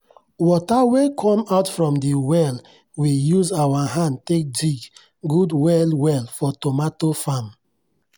water wey come out from the well we use our hand take dig good well well for tomato farm.